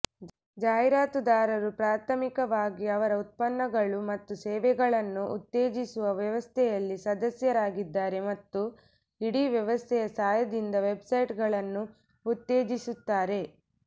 ಜಾಹೀರಾತುದಾರರು ಪ್ರಾಥಮಿಕವಾಗಿ ಅದರ ಉತ್ಪನ್ನಗಳು ಮತ್ತು ಸೇವೆಗಳನ್ನು ಉತ್ತೇಜಿಸುವ ವ್ಯವಸ್ಥೆಯಲ್ಲಿ ಸದಸ್ಯರಾಗಿದ್ದಾರೆ ಮತ್ತು ಇಡೀ ವ್ಯವಸ್ಥೆಯ ಸಹಾಯದಿಂದ ವೆಬ್ಸೈಟ್ಗಳನ್ನು ಉತ್ತೇಜಿಸುತ್ತಾರೆ